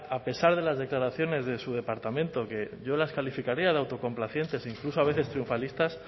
a pesar de las declaraciones de su departamento que yo las calificaría de autocomplacientes incluso a veces triunfalistas